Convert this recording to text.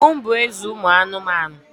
Ọdụm bụ eze ụmụ anụmanụ.